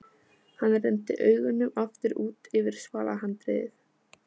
Hann renndi augunum aftur út yfir svalahandriðið.